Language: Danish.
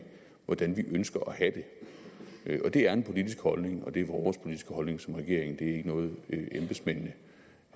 hvordan vi ønsker at have det det er en politisk holdning og det er vores politiske holdning som regering ikke noget embedsmændene